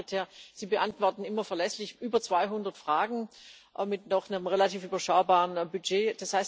Herr Generalsekretär, Sie beantworten immer verlässlich über 200 Fragen mit einem noch relativ überschaubaren Budget.